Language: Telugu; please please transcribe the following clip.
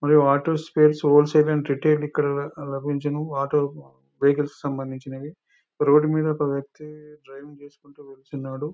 Only auto spares wholesale and retail ఇక్కడ లభించును ఆటోస్ వెహికల్స్ కి సంబంధించినవి రోడ్డు మీద ఒక వ్యక్తి డ్రైవింగ్ చేసుకుంటూ వెళ్తున్నాడు.